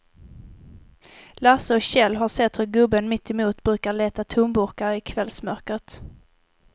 Lasse och Kjell har sett hur gubben mittemot brukar leta tomburkar i kvällsmörkret.